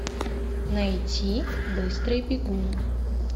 найти быстрый бегун